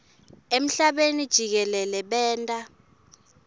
emhlabeni jikelele benta